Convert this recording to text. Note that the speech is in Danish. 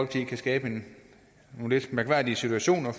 kan skabe nogle lidt mærkværdige situationer